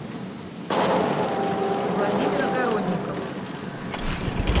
владимир огородников